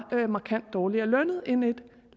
var markant dårligere lønnet end et